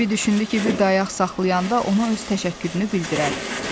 Bembi düşündü ki, bir dayaq saxlayanda ona öz təşəkkürünü bildirər.